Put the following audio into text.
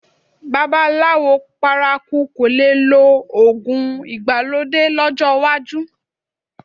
Babaláwo paraku kò le lo òògùn ìgbàlódé lọ́jọ́ iwájú